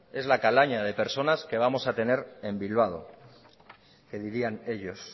es la calaña que personas que vamos a tener en bilbado que dirían ellos